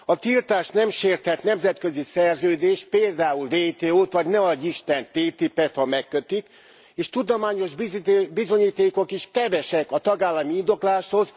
A tiltás nem sérthet nemzetközi szerződést, például WTO t, vagy ne adj'isten TTIP et ha megkötik és tudományos bizonyítékok is kevesek a tagállami indokláshoz.